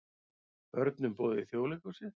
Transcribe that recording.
Börnum boðið í Þjóðleikhúsið